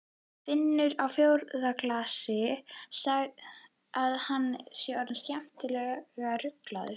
Finnur á fjórða glasi að hann er orðinn skemmtilega ruglaður.